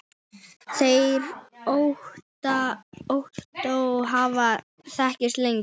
Þeir Ottó hafa þekkst lengi.